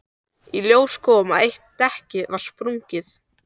Í ljós kom að eitt dekkið var sprungið.